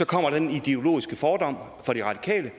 kommer den ideologiske fordom fra de radikale